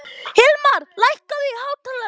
Hilmar, lækkaðu í hátalaranum.